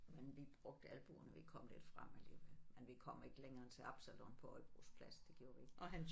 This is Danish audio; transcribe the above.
Men vi brugte albuerne vi kom lidt frem alligevel men vi kom ikke længere end til Absalon på Højbro plads det gjorde vi ikke